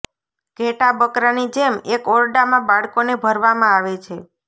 ઘેટાં બકરાની જેમ એક ઓરડામાં બાળકોને ભરવામાં આવે છે